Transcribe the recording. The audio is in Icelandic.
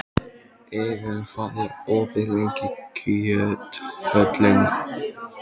Iðunn, hvað er opið lengi í Kjöthöllinni?